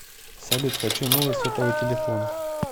салют хочу новый сотовый телефон